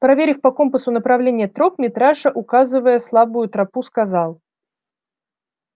проверив по компасу направление троп митраша указывая слабую тропу сказал